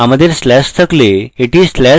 আমাদের slash থাকলে এটি slash দ্বারা প্রতিস্থাপন করতাম